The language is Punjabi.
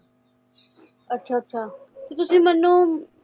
ਅੱਛਾ ਅੱਛਾ ਤੇ ਤੁਸੀਂ ਮੈਨੂੰ